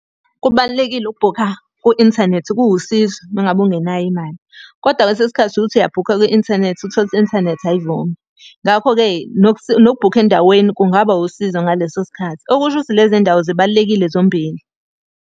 Kubalulekile ukubhukha ku-inthanethi, kuwusizo uma ngabe ungenayo imali. Kodwa kwesinye isikhathi uke uthi uyabhukha kwi-inthanethi uthole ukuthi i-inthanethi ayivumi. Ngakho-ke nokubhukha endaweni kungaba wusizo ngaleso sikhathi, Okusho ukuthi lezi y'ndawo zibalulekile zombili.